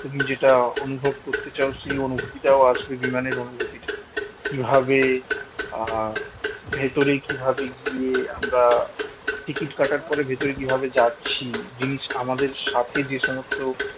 তুমি যেটা অনুভব করতে চাও সেই অনুভূতিটা আসবে বিমানের অনুভূতিটা কিভাবে আহ ভেতরে কিভাবে গিয়ে আমরা ticket কাটার পরে ভিতরে কিভাবে যাচ্ছি জিনিস আমাদের সাথে যে সমস্ত